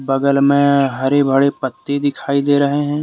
बगल में हरे भड़े पत्ते दिखाई दे रहे हैं।